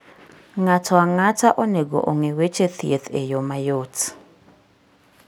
Ng'ato ang'ata onego ong'e weche thieth e yo mayot.